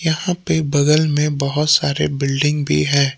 यहां पे बगल में बहुत सारे बिल्डिंग भी है।